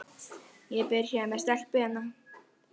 Ég er byrjaður með stelpu hérna.